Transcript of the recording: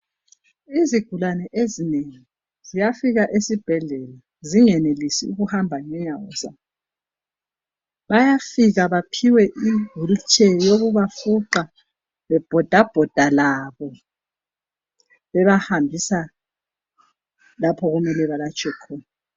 Izigulani ezinengi ziyafika esibhedlela zingenelisi ukuhamba ngenyawo zabo. Bayafika baphiwe iwheelchair yokubafuqa bebhodabhoda labo bebahambisa lapho okumele balatshwe khona.